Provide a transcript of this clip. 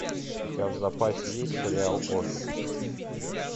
у тебя в запасе есть сериал офис